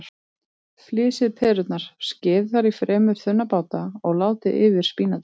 Flysjið perurnar, skerið þær í fremur þunna báta og látið yfir spínatið.